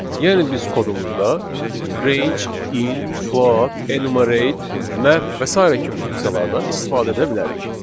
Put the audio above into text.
Yəni biz kodumuzda range, int, float, enumerate, map və sairə kimi funksiyalardan istifadə edə bilərik.